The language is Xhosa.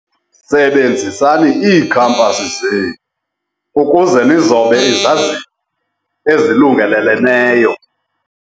Sebenzisani iikhampasi zenu ukuze nizobe izazinge ezilungeleleneyo.